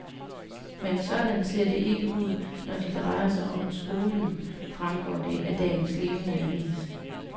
Men sådan ser det ikke ud, når de drejer sig om skolen, fremgår det af dagens levende avis.